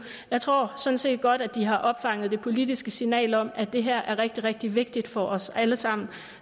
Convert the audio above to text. jeg tror sådan set godt at de har opfanget det politiske signal om at det her er rigtig rigtig vigtigt for os alle sammen